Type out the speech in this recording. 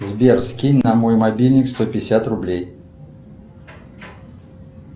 сбер скинь на мой мобильник сто пятьдесят рублей